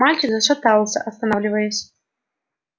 мальчик зашатался останавливаясь